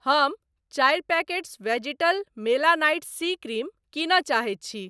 हम चारि packets vegetal melanite C cream किनय चाहैत छी।